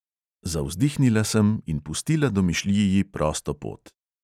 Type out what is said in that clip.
Zavzdihnila sem in pustila domišljiji prosto pot.